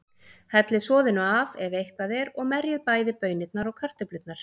Hellið soðinu af, ef eitthvað er, og merjið bæði baunirnar og kartöflurnar.